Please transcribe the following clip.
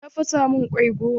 Ta fasa min kwai goma.